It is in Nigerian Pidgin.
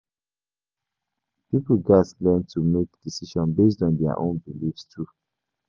Pipo gatz learn to make decisions based on their own beliefs too.